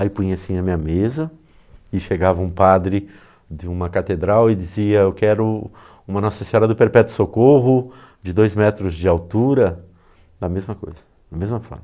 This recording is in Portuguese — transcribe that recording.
Aí punha assim a minha mesa, e chegava um padre de uma catedral e dizia, eu quero uma Nossa Senhora do Perpétuo Socorro, de dois metros de altura, da mesma coisa, da mesma forma.